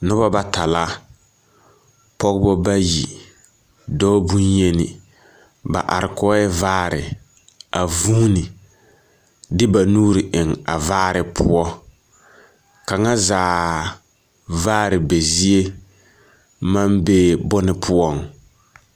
Noba bata la. Pɔgbɔ bayi, dɔɔ bonyeni. Ba are kɔɔɛ vaare a vūūhuni, de ba nuuri eŋ a vaare poɔ. Kaŋa zaa vaare be zie maŋ bee bone poɔŋ.